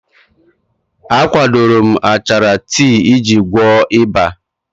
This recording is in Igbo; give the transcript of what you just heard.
A kwadoro m achara tii iji gwọọ ịba.